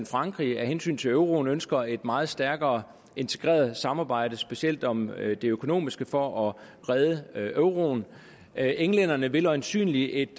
frankrig af hensyn til euroen ønsker et meget stærkere integreret samarbejde specielt om det økonomiske for at redde euroen englænderne vil øjensynlig en